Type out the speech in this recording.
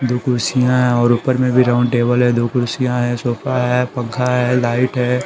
दो कुर्सियां है और ऊपर में भी राउंड टेबल है दो कुर्सियां है सोफा है पंखा है लाइट है।